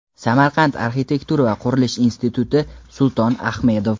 Samarqand arxitektura va qurilish instituti Sulton Ahmedov;.